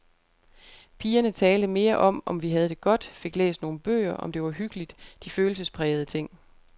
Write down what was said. Pigerne talte mere om, om vi havde det godt, fik læst nogle bøger, om det var hyggeligt, de følelsesprægede ting.